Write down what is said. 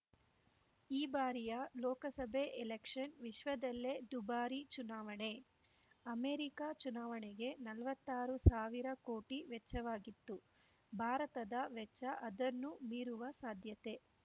ಈ ಬಾರಿಯ ಲೋಕಸಭೆ ಎಲೆಕ್ಷನ್‌ ವಿಶ್ವದಲ್ಲೇ ದುಬಾರಿ ಚುನಾವಣೆ ಅಮೆರಿಕ ಚುನಾವಣೆಗೆ ನಲ್ವತ್ತಾರು ಸಾವಿರ ಕೋಟಿ ವೆಚ್ಚವಾಗಿತ್ತು ಭಾರತದ ವೆಚ್ಚ ಅದನ್ನು ಮೀರುವ ಸಾಧ್ಯತೆ